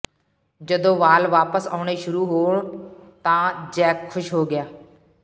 ਜਦੋਂ ਵਾਲ ਵਾਪਸ ਆਉਣੇ ਸ਼ੁਰੂ ਹੋਣ ਤਾਂ ਜੈਕ ਖੁਸ਼ ਹੋ ਗਿਆ